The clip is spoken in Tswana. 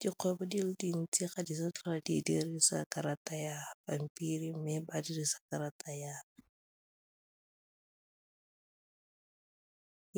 Dikgwebo di le dintsi ga ditlhwatlhwa di dirisa karata ya pampiri mme ba dirisa karata